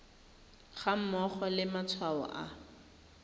ga mmogo le matshwao a